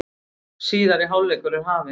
Síðari hálfleikur er hafinn